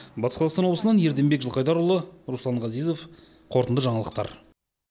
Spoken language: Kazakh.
батыс қазақстан облысынан ерденбек жылқайдарұлы руслан ғазизов қорытынды жаңалықтар